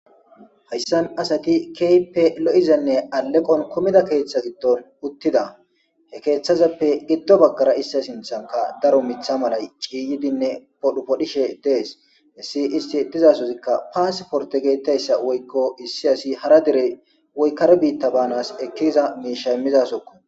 Hayssan asati kehippe lo'izane alleqo kumida keththa giddon uttida. He keththazappe giddo bagara iza sinthankka Darko miththa malay ciyidinne fodhi fodhishe dees.hessi isti dizasozikka passportte gettetizayssa woyko issi asi hara dere woy kare bita banas ekkiza misha imiza sohokko.